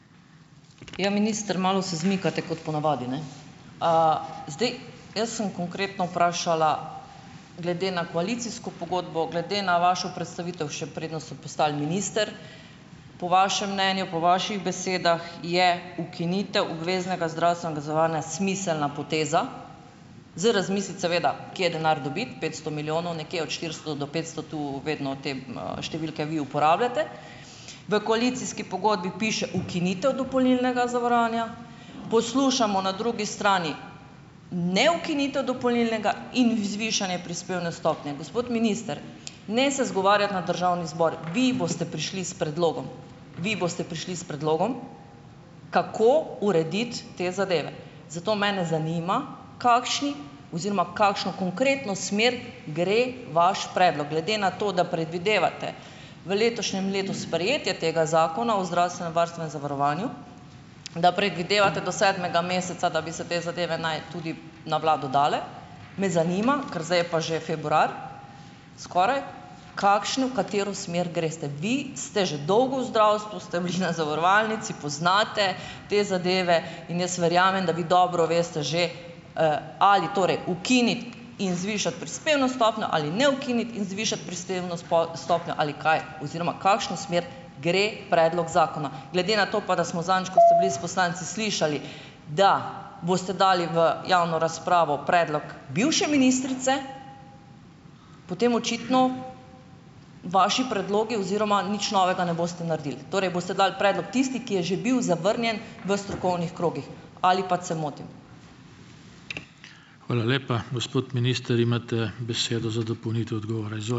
Ja, minister, malo se izmikate, kot ponavadi, ne. A ... Zdaj. Jaz sem konkretno vprašala glede na koalicijsko pogodbo, glede na vašo predstavitev, še preden ste postali minister. Po vašem mnenju, po vaših besedah je ukinitev obveznega zdravstvenega zavarovanja smiselna poteza, za razmisliti seveda kje denar dobiti. Petsto milijonov, nekje od štiristo do petsto, tu vedno te, številke vi uporabljate. V koalicijski pogodbi piše ukinitev dopolnilnega zavarovanja. Poslušamo na drugi strani ne ukinitev dopolnilnega in zvišanje prispevne stopnje. Gospod minister, ne se izgovarjati na državni zbor. Vi boste prišli s predlogom, vi boste prišli s predlogom, kako urediti te zadeve. Zato mene zanima, kakšni oziroma kakšno konkretno smer gre vaš predlog glede na to, da predvidevate v letošnjem letu sprejetje tega zakona o zdravstvenem varstvu in zavarovanju, da predvidevate do sedmega meseca, da bi ste te zadeve naj tudi na vlado dale, me zanima, ker zdaj je pa že februar skoraj, v kakšno, katero smer greste. Vi ste že dolgo v zdravstvu, ste bili na zavarovalnici, poznate te zadeve in jaz verjamem, va bi dobro veste že, ali torej ukiniti in zvišati prispevno stopnjo ali ne ukiniti in zvišati prispevno stopnjo ali kaj oziroma kakšno smer gre predlog zakona. Glede na to pa, da smo zadnjič, kot ste bili s poslanci, slišali, da boste dali v javno razpravo predlog bivše ministrice, potem očitno vaši predlogi oziroma nič novega ne boste naredili. Torej boste dali predlog tisti, ki je že bil zavrnjen v strokovnih krogih, ali pač, se motim?